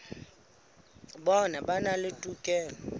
bona ba na le tokelo